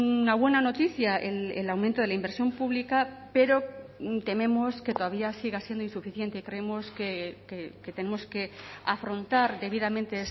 una buena noticia el aumento de la inversión pública pero tememos que todavía siga siendo insuficiente creemos que tenemos que afrontar debidamente